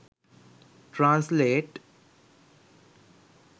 translate